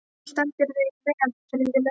Þú stendur þig vel, Friðlaug!